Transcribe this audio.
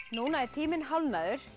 núna er tíminn hálfnaður